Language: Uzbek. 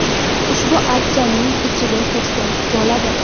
Ushbu archaning ichiga kirsa bo‘ladi.